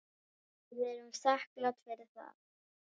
Við erum þakklát fyrir það.